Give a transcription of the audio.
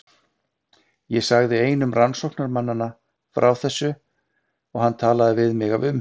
Ég sagði einum rannsóknarmannanna frá þessu og hann talaði við mig af umhyggju.